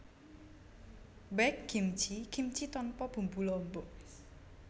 Baekgimchi kimchi tanpa bumbu lombok